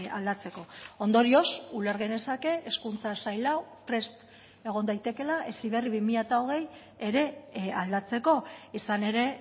aldatzeko ondorioz uler genezake hezkuntza sail hau prest egon daitekeela heziberri bi mila hogei ere aldatzeko izan ere